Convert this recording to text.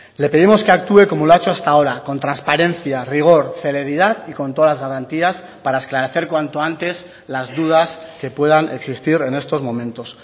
le pedimos que actúe como lo ha hecho hasta ahora con transparencia rigor celeridad y con todas las garantías para esclarecer cuanto antes las dudas que puedan existir en estos momentos